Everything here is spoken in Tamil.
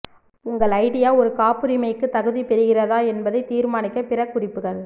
உங்கள் ஐடியா ஒரு காப்புரிமைக்கு தகுதி பெறுகிறதா என்பதை தீர்மானிக்க பிற குறிப்புகள்